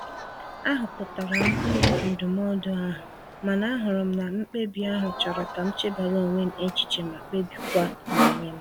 A hụpụtara m uru ndụmọdụ ahụ, mana ahụrụ m na mkpebi ahụ chọrọ ka m chebara onwe m echiche ma kpebikwa n'onwe m..